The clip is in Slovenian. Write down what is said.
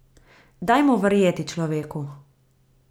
Dajmo verjeti človeku.